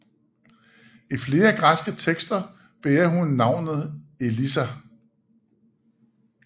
I flere græske tekster bærer hun navnet Elissa